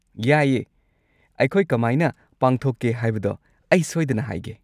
ꯌꯥꯏꯌꯦ! ꯑꯩꯈꯣꯏ ꯀꯃꯥꯏꯅ ꯄꯥꯡꯊꯣꯛꯀꯦ ꯍꯥꯏꯕꯗꯣ ꯑꯩ ꯁꯣꯏꯗꯅ ꯍꯥꯏꯒꯦ꯫